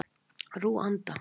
Rúanda